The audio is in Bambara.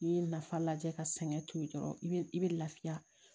N'i ye nafa lajɛ ka sɛgɛn to yen dɔrɔn i bɛ i bɛ lafiya